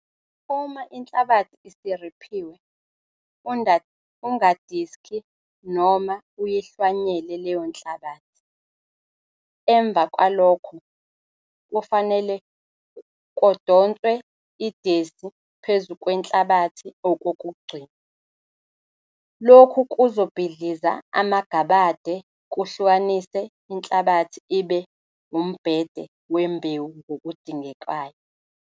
Uma inhlabathi isiriphiwe, ungadiski noma uyihlwanyele leyo nhlabathi. Emva kwalokho, kufanele kodonswe idesi phezu kwenhlabathi okokugcina. Lokhu kuzobhidliza amagabade kuhlukanise inhlabathi ibe umbhede wembewu ngokudingekayo.